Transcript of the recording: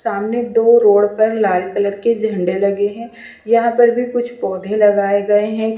सामने दो रोड पर लाल कलर के झंडे लगे हैं यहां पर भी कुछ पौधे लगाए गए हैं।